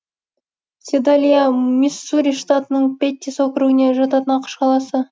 седалиа миссури штатының петтис округіне жататын ақш қаласы